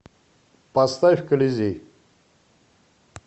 поставь колизей